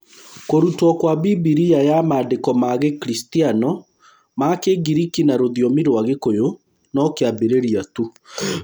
Kũrutwo kwa Bibilia ya Maandĩko ma Gĩkristiano ma Kĩngiriki na rũthiomi rwa Gĩkũyũ no kĩambĩrĩria tu.